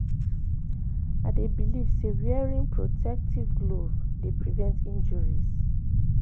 I dey believe say wearing protective glove dey prevent injuries.